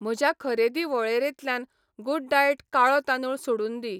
म्हज्या खरेदी वळेरेंतल्यान गुडडाएट काळो तांदूळ सोडून दी.